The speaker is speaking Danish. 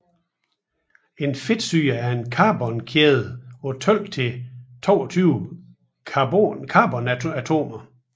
En fedtsyre er en carbonkæde på 12 til 22 carbonatomer